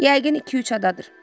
Yəqin iki-üç adadır.